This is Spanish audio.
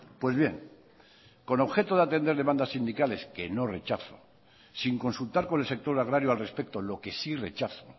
pues bien con objeto de atender demandas sindicales que no rechazo sin consultar con el sector agrario al respecto lo que sí rechazo